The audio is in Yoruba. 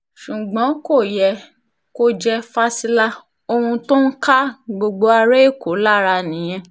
ṣùgbọ́n kò yẹ kó jẹ́ fásilà ohun tó ń ká gbogbo ará èkó lára nìyẹn